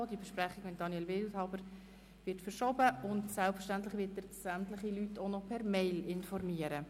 Die Besprechung mit Daniel Wildhaber wird verschoben, und selbstverständlich wird er sämtliche Personen per EMail informieren.